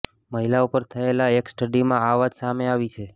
મહિલાઓ પર થયેલા એક સ્ટડીમાં આ વાત સામે આવી છે